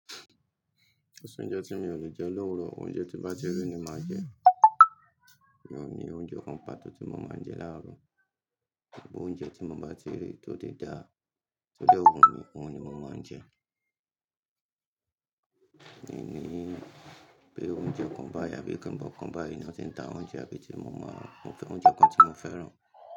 Ko soúnjẹ tí mi ò lè jẹ lówuro, oúnjẹ tí n bá ti ri ni màá jẹ. Mi ò ní oúnjẹ kan pàtó tí mo máa ń jẹ láàárọ̀, bi óúnjẹ tí mo bá ti rí tó ti dá, tó de wù mi, òun ni mo máa ń jẹ. Mi ò ní pé oúnjẹ kan báyìí àbí kàn án bó ọkàn báyìí náà tí ń ta oúnjẹ àbí tí mo mọ̀, oúnjẹ kan tí mo fẹ́ràn.